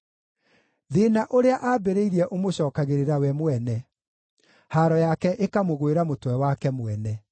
Thĩĩna ũrĩa aambĩrĩirie ũmũcookagĩrĩra we mwene, haaro yake ĩkamũgwĩra mũtwe wake mwene.